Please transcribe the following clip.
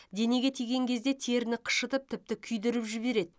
денеге тиген кезде теріні қышытып тіпті күйдіріп жібереді